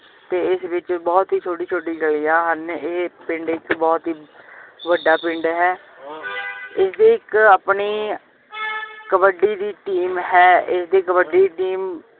ਤੇ ਇਸ ਵਿਚ ਬਹੁਤ ਹੀ ਛੋਟੀ ਛੋਟੀ ਗਲੀਆਂ ਹਨ ਇਹ ਪਿੰਡ ਇਕ ਬਹੁਤ ਹੀ ਵੱਡਾ ਪਿੰਡ ਹੈ ਇਸ ਡੀ ਇਕ ਆਪਣੀ ਕਬੱਡੀ ਦੀ team ਹੈ ਇਸਦੀ ਕਬੱਡੀ ਦੀ team